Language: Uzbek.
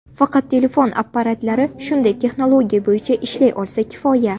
Faqat telefon apparatlari shunday texnologiya bo‘yicha ishlay olsa kifoya.